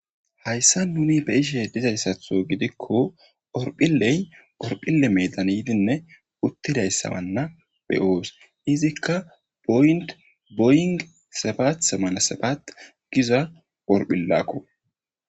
hayssa nuni be'ishe dizayssatho gidikko orphilley orphille medan yidinne uttidayssabanna be'oos izikka boynt boyng sabat semana sabat giza orphillakko